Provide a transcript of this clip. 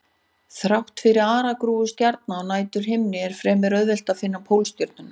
Þrátt fyrir aragrúa stjarna á næturhimninum er fremur auðvelt að finna Pólstjörnuna.